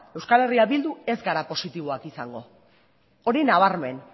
euskal herria bildun ez gara positiboak izango hori nabarmen